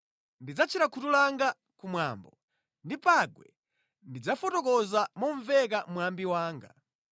Ndidzatchera khutu langa ku mwambo, ndi pangwe ndidzafotokoza momveka mwambi wanga.